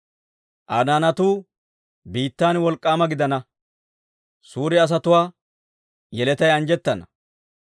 Aa naanatuu biittan wolk'k'aama gidana; suure asatuwaa yeletay anjjettana.